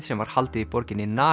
sem var haldið í borginni